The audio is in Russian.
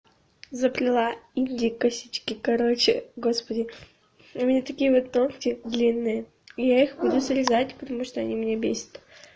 заплела инди косички короче господи у меня такие вот ногти длинные и я их будут срезать потому что они меня бесят